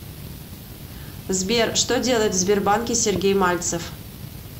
сбер что делает в сбербанке сергей мальцев